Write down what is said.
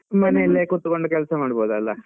ಮನೇಲೆ ಕುತ್ಕೊಂಡ್ ಕೆಲ್ಸ ಮಾಡಬಹುದಲ್ಲ.